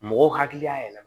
Mɔgɔw hakili y'a yɛlɛma